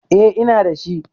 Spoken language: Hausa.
Eh ina da shi